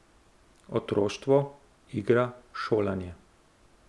Otroštvo, igra, šolanje.